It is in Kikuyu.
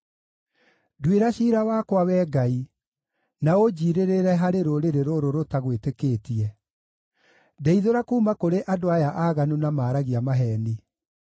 Nduĩra ciira wakwa, Wee Ngai, na ũnjiirĩrĩre harĩ rũrĩrĩ rũrũ rũtagwĩtĩkĩtie; ndeithũra kuuma kũrĩ andũ aya aaganu na maaragia maheeni.